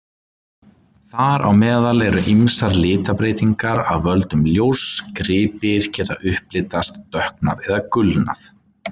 Þar á meðal eru ýmsar litabreytingar af völdum ljóss: gripir geta upplitast, dökknað eða gulnað.